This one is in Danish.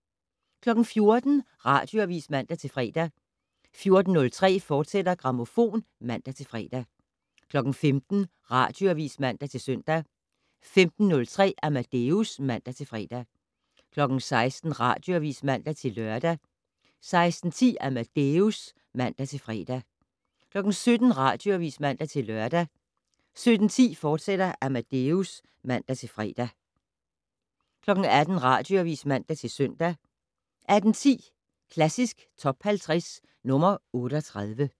14:00: Radioavis (man-fre) 14:03: Grammofon, fortsat (man-fre) 15:00: Radioavis (man-søn) 15:03: Amadeus (man-fre) 16:00: Radioavis (man-lør) 16:10: Amadeus (man-fre) 17:00: Radioavis (man-lør) 17:10: Amadeus, fortsat (man-fre) 18:00: Radioavis (man-søn) 18:10: Klassisk Top 50 - nr. 38